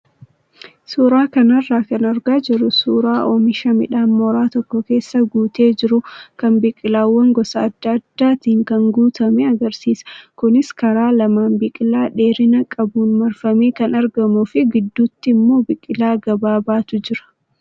Suuraa kanarraa kan argaa jirru suuraa oomisha midhaan mooraa tokko keessa guutee jiru kan biqilaawwan gosa adda addaatiin kan guutame agarsiisa. Kunis karaa lamaan biqilaa dheerina qabuun marfamee kan argamuu fi gidduutti immoo biqilaa gabaabaatu jira.